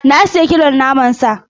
Na sayi kilon naman sa.